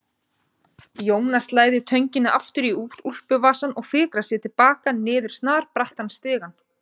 Jónas læðir tönginni aftur í úlpuvasann og fikrar sig til baka niður snarbrattan stigann.